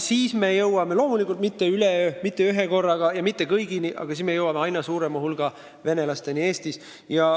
Nii me jõuame, loomulikult mitte üleöö, mitte ühekorraga ja mitte kõigini, aga aina suurema hulga Eesti venelasteni.